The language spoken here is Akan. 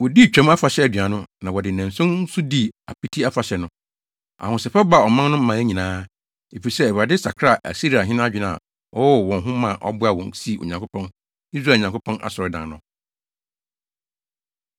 Wodii Twam Afahyɛ aduan no, na wɔde nnanson nso dii Apiti Afahyɛ no. Ahosɛpɛw baa ɔman no mmaa nyinaa, efisɛ Awurade sakraa Asiriahene adwene a ɔwɔ wɔ wɔn ho ma ɔboaa wɔn sii Onyankopɔn, Israel Nyankopɔn, asɔredan no.